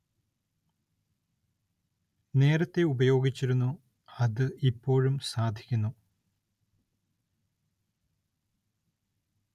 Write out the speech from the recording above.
നേരത്തേ ഉപയോഗിച്ചിരുന്നു അത് ഇപ്പോഴും സാധിക്കുന്നു